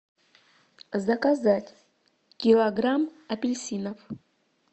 заказать килограмм апельсинов